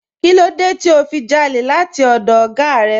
Kínlódé tí o fi jálè láti ọdọ̀ oga rẹ?